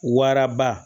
Waraba